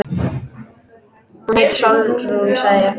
Hún heitir Sólrún, sagði ég.